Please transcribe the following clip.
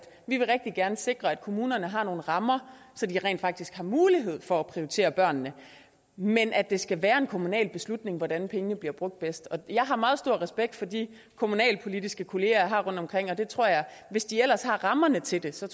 vi rigtig gerne vil sikre at kommunerne har nogle rammer så de rent faktisk har mulighed for at prioritere børnene men at det skal være en kommunal beslutning hvordan pengene bliver brugt bedst jeg har meget stor respekt for de kommunalpolitiske kolleger jeg har rundtomkring og jeg tror at hvis de ellers har rammerne til det så